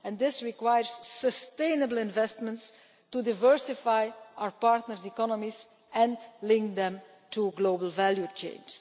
This requires sustainable investment to diversify our partners' economies and link them to global value chains.